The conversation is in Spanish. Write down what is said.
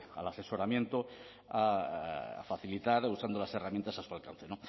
al asesoramiento a facilitar usando las herramientas a su alcance